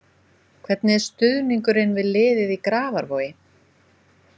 Hvernig er stuðningurinn við liðið í Grafarvogi?